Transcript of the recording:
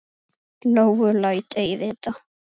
Lóu læt ei vita.